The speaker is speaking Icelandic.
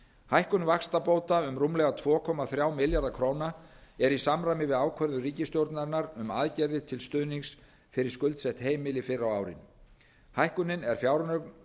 hækkun vaxtabóta um rúmlega tvö komma þrjá milljarða króna er í samræmi við ákvörðun ríkisstjórnarinnar um aðgerðir til stuðnings fyrir skuldsett heimili fyrr á árinu hækkunin er fjármögnuð